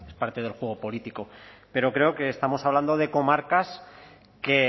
parte del juego político pero creo que estamos hablando de comarcas que